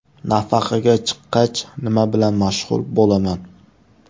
Nafaqaga chiqqach, nima bilan mashg‘ul bo‘laman?